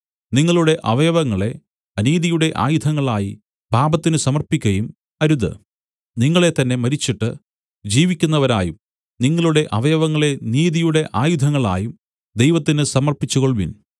നിങ്ങളുടെ അവയവങ്ങളെ അനീതിയുടെ ആയുധങ്ങളായി പാപത്തിന് സമർപ്പിക്കയും അരുത് നിങ്ങളെത്തന്നേ മരിച്ചിട്ട് ജീവിക്കുന്നവരായും നിങ്ങളുടെ അവയവങ്ങളെ നീതിയുടെ ആയുധങ്ങളായും ദൈവത്തിന് സമർപ്പിച്ചുകൊൾവിൻ